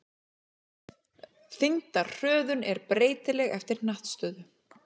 Þyngdarhröðun er breytileg eftir hnattstöðu.